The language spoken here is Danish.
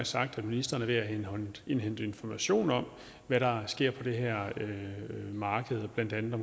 sagt at ministeren er ved at indhente information om hvad der sker på det her marked blandt andet i